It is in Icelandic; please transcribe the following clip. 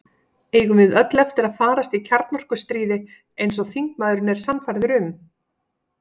Eigum við öll eftir að farast í kjarnorkustríði, eins og þingmaðurinn er sannfærður um?